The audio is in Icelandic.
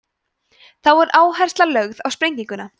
þá er áhersla lögð á sprenginguna